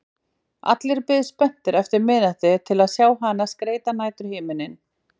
Allir biðu spenntir eftir miðnætti til að sjá hana skreyta næturhimininn.